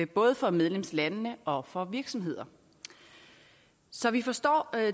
både for medlemslandene og for virksomheder så vi forstår